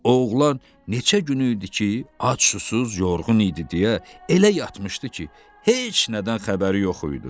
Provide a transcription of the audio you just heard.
Oğlan neçə gün idi ki, ac-susuz, yorğun idi deyə, elə yatmışdı ki, heç nədən xəbəri yox idi.